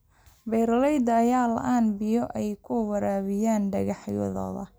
Beeralayda ayaa la�aan biyo ay ku waraabiyaan dalagyadooda.